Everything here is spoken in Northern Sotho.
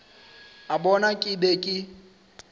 a bona ke be ke